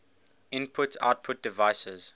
input output devices